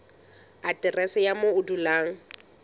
aterese ya moo o dulang